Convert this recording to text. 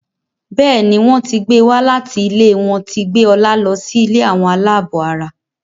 Béèni wón tí gbé wá láti ilé wón tí gbé Ola ló sì ilé Àwọn alabó àrà.